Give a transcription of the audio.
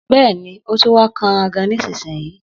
Bẹ́ẹ̀ni, òtún wà kànrà gàn nísínyì.